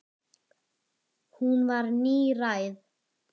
Hún var níræð.